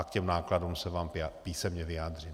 A k těm nákladům se vám písemně vyjádřím.